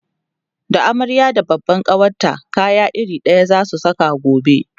da amarya da babban kawarta kaya iri ɗaya zasu Saka gobe